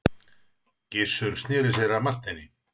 Gizur sneri sér að Marteini.